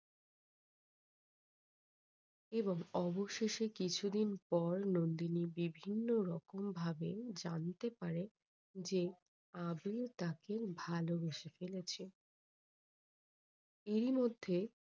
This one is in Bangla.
এবং অবশেষে কিছুদিন পর নন্দিনী বিভিন্নরকম ভাবে জানতে পারে যে আবির ও তাকে ভালোবেসে ফেলেছে এরই মধ্যে